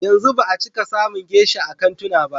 Yanzu ba a cika samun geisha a kantuna ba.